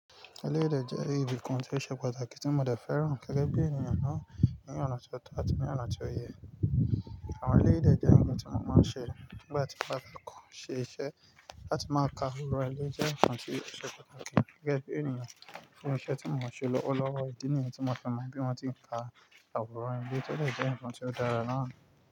Eleyii dè jẹ́ ibìkan tí o se pàtàkì tí mo dẹ fẹ́ràn gẹgẹ bí ènìyàn náà, ní ọ̀nà ti ó tọ́ àti ní ọ̀nà tí ó yẹ. Àwọn eleyi dẹ̀ jẹ́ ohun tí mo máa ń ṣe nígbà tí mo bá kọ́kọ́ ṣe iṣẹ́ láti máa ka àwòrán, ó jẹ́ nǹkan tí o ṣe pàtàkì gẹ́gẹ́ bí ènìyàn. Ní iṣẹ́ tí mo ń ṣe lọwọlọ́wọ́, ìdí nìyẹn tí mo fi mọ́ bí wọ́n ti ń ka àwòrán ile to dẹ̀ jẹ́ nkan tí ó dara náà.